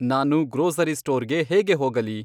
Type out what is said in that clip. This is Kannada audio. ನಾನು ಗ್ರೋಸರಿ ಸ್ಟೋರ್ ಗೆ ಹೇಗೆ ಹೋಗಲಿ